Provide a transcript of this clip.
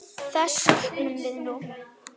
Þess söknum við nú.